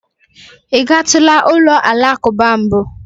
Ị gatula ụlọ alakụba mbụ?